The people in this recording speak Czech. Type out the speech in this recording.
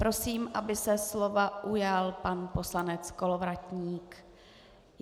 Prosím, aby se slova ujal pan poslanec Kolovratník.